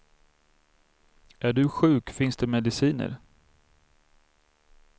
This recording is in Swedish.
Är du sjuk finns det mediciner.